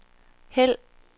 hæld